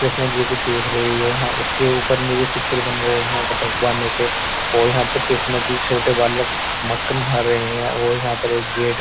कृष्णा जी को देख रही है हाँ उसके ऊपर निरे चित्र बन रहे है भगवानो के और यहाँ पे कृष्णा जी छोटे बालको मक्खन खा रहे हैं और यहाँ पे एक गेट --